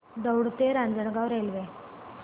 दौंड ते रांजणगाव रेल्वे